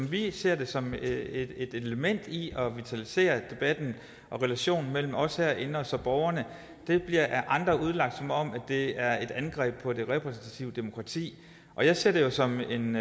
vi ser det som et element i at vitalisere debatten og relationen mellem os herinde og så borgerne det bliver af andre udlagt som om det er et angreb på det repræsentative demokrati og jeg ser det jo som en